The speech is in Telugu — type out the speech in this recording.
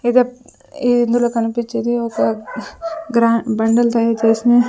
ఎదో ఇందులో కనిపిచ్చేది ఒక గ్ర బండలు తయారు చేసిన --